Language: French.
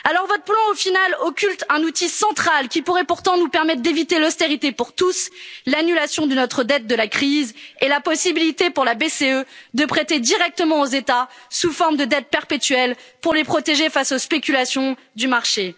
Votre plan, au final, occulte un outil central qui pourrait pourtant nous permettre d'éviter l'austérité pour tous l'annulation de notre dette de la crise et la possibilité pour la BCE de prêter directement aux États sous forme de dette perpétuelle pour les protéger face aux spéculations du